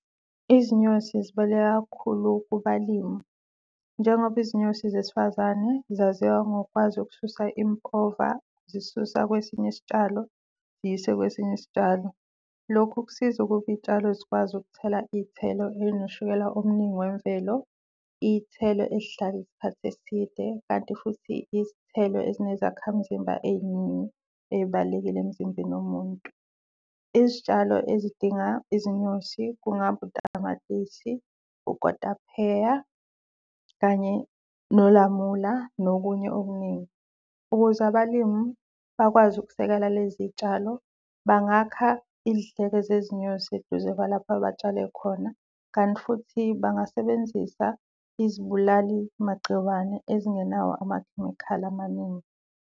Izinyosi zibaluleke kakhulu kubalimi njengoba izinyosi zesifazane zaziwa ngokwazi ukususa impova, zisusa kwesinye isitshalo ziyise kwesinye isitshalo. Lokhu kusiza ukuba iy'tshalo zikwazi ukukuthela iy'thelo ey'noshukela omningi wemvelo. Iy'thelo ey'hlala isikhathi eside kanti futhi izithelo ezinezakhamzimba ey'ningi ey'baluleke emzimbeni womuntu. Izitshalo ezidinga izinyosi kungaba utamatisi, ukotapheya kanye nokulamula nokunye okuningi. Ukuze abalimi bakwazi ukusekela lezi y'tshalo bangakha izidleke zezinyosi eduze kwalapho betshale khona, kanti futhi bangasebenzisa izibulali-magciwane ezingenawo amakhemikhali amaningi.